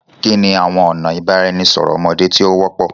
Kini awọn ọna ibaraẹnisọrọ ọmọde ti o wọpọ?